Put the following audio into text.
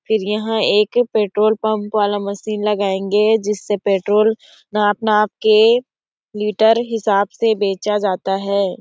फिर यहाँ petrol pump वाला मशीन लगाएंगे जिससे पेट्रोल नाप नाप के लीटर के हिसाब से बेचा जाता है।